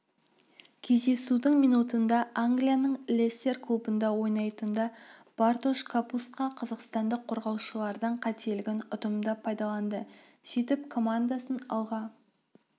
кездесудің минутында англияның лестер клубында ойнайтында бартош капустка қазақстандық қорғаушылардың қателігін ұтымды пайдаланды сөйтіп командасын алға